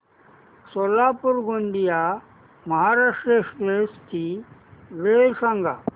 Solapur Gondia Maharashtra express ची वेळ सांगा